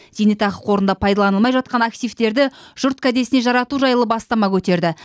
зейнетақы қорында пайдаланылмай жатқан активтерді жұрт кәдесіне жарату жайлы бастама көтерді